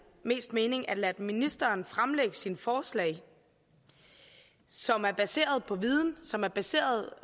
mest mening at lade ministeren fremlægge sine forslag som er baseret på viden som er baseret